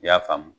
I y'a faamu